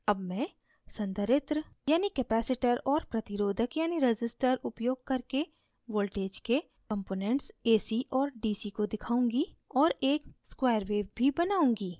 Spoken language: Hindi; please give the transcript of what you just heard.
ac मैं संधारित्र यानि capacitor और प्रतिरोधक यानि resistor उपयोग करके voltage के components ac और dc को दिखाऊँगी और एक square wave भी बनाऊँगी